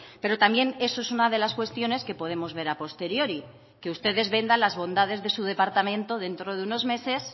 pero también eso es una de las cuestiones que podemos ver a posteriori que ustedes vendan las bondades de su departamento dentro de unos meses